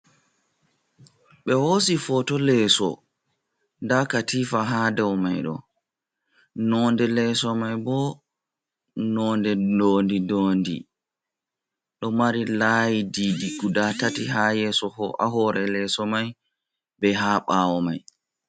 Ɓe hosi foto leso nda katifa ha dau mai do nonde leso mai bo nonde dondi-dondi. Ɗo mari layi didi Guda tati ha yeso hore leso mai be ha ɓawo mai.